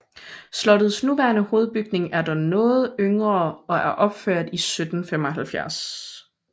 Slottets nuværende hovedbygning er dog noget yngre og er opført i 1775